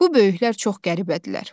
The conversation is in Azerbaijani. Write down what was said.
Bu böyüklər çox qəribədirlər.